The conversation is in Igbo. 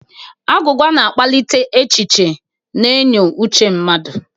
Agwụgwa na akpalịte echichi na enyo Uche mmadu.